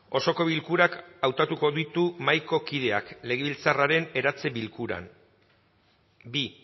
osoko bilkurak hautatuko ditu mahaiko kideak legebiltzarraren eratze bilkuran bi